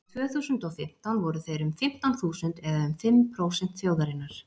árið tvö þúsund og og fimmtán voru þeir um fimmtán þúsund eða um fimm prósent þjóðarinnar